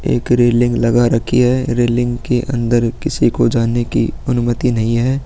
एक रेलिंग लगा रखी है रेलिंग के अंदर किसी को जाने की अनुमति नहीं है।